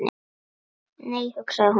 Nei, hugsaði hún.